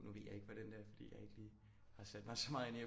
Nu ved jeg ikke hvordan det er fordi jeg ikke lige har sat mig så meget ind i